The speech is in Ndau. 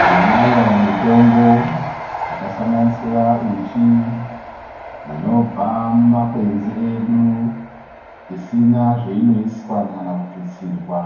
Tinayo mitombo yakahlonganisira uchi, inobva mumakwenzi edu isina zveinoiswa kana kututsirwa